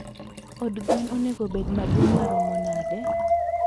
Od gwen onego obed maduong maromo nade?